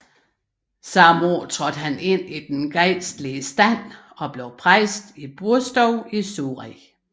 Samme år trådte han ind i den gejstlige stand og blev præst i Burstow i Surrey